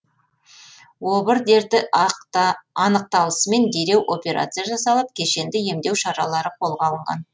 обыр дерті анықталысымен дереу операция жасалып кешенді емдеу шаралары қолға алынған